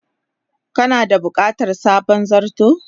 Kana da bukatar sabon zarto?